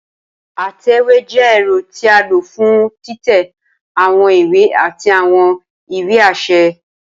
Atẹwe jẹ ẹrọ ti a lo fun titẹ awọn iwe ati awọn iwe aṣẹ.